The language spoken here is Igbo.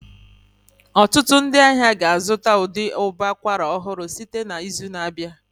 Ọtụtụ ndị ahịa ga-azụta ụdị ụbọ akwara ọhụrụ site n'izu na-abịa